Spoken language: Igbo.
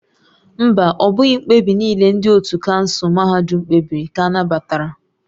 Mba, ọ bụghị mkpebi niile ndị ótú kansụl mahadum kpebiri ka a nabatara